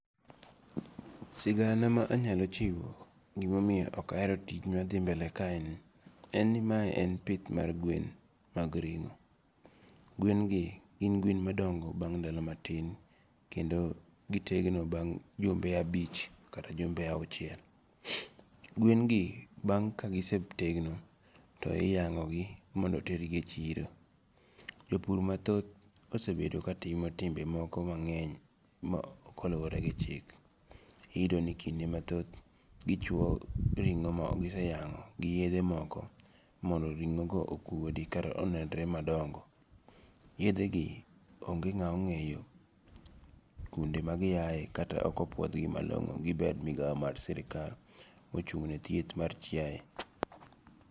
Sigana ma anyalo chiwo gimomiyo okahero tich mathi mbele kaeni en ni mae en pith mag gwen mag ringo, gwen gi gin gwen madongo bang' ndalo matin kendo gitegno bang' jumbe abich kata jumbe awuchiel, gwengi bang ka kisetegno to hiyango'gi maondo otergi e chiro, jopur mathoth osebedo ka timo timbe moko mange'ny ma ok oluwore gi chik, iyudo ni kende mathoth gichwo ringo' ma giseyango' gi yethe mako mondo ringo'go okuodi kata mondo onenre madongo, yethegi onge' ng'a ongeyo kuonde magiyae kata okopuothgi malongo' gi bad migao mar sirikal ma ochung ne thieth mar chiaye.